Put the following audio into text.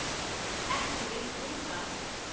Ekki vilt þú það?